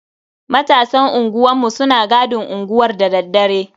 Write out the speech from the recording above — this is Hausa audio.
Matasan unguwanmu suna gadin unguwar dadaddare.